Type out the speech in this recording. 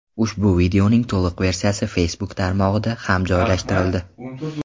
Ushbu videoning to‘liq versiyasi Facebook tarmog‘iga ham joylashtirildi.